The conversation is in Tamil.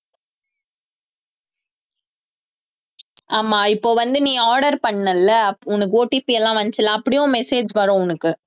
ஆமா இப்ப வந்து நீ order பண்ணல்ல அப்ப உனக்கு OTP எல்லாம் வந்துச்சுல்ல அப்படியும் உன் message வரும் உனக்கு